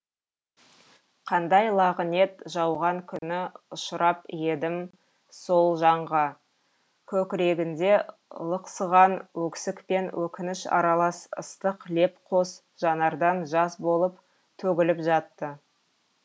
қандай лағынет жауған күні ұшырап едім сол жанға көкірегінде лықсыған өксік пен өкініш аралас ыстық леп қос жанардан жас болып төгіліп жатты